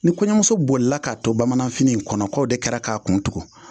Ni kɔɲɔmuso bolila k'a to bamananfini in kɔnɔ k'o de kɛra k'a kun tugu